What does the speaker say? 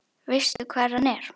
Veistu hvar hann er?